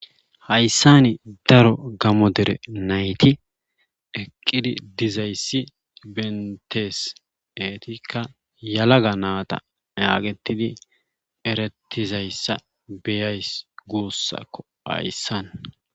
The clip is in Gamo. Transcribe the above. hayssani daro gamo dere nayti eqqidi dizayssi bentees eetikka yalaga naata yaaqettidi erettizayssa beyays guussakko hayssan